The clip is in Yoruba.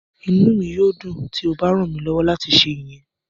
Inu mi yoo dun ti o ba ran mi lọwọ lati ṣe iyẹn.